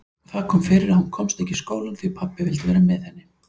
Það kom fyrir að hún komst ekki í skólann því pabbi vildi vera með henni.